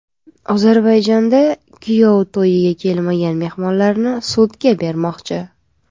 Ozarbayjonda kuyov to‘yiga kelmagan mehmonlarni sudga bermoqchi.